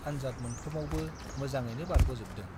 आन्जाद मोनफ्रोमावबो मोजाङैनो बारग'जोबदों।